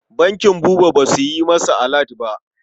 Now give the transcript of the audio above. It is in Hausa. Bankin Buba ba su yi masa alat ba.